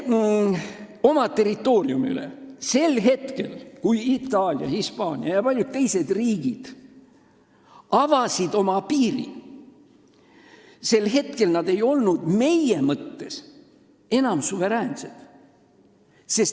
Aga sel hetkel, kui Itaalia, Hispaania ja paljud teised riigid avasid oma piiri, ei olnud nad meiega meie mõistes enam suveräänsed.